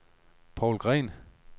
Paul Green